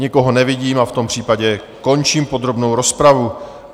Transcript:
Nikoho nevidím a v tom případě končím podrobnou rozpravu.